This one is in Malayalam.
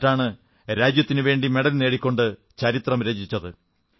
എന്നിട്ടാണ് രാജ്യത്തിനുവേണ്ടി മെഡൽ നേടിക്കൊണ്ട് ചരിത്രം രചിച്ചത്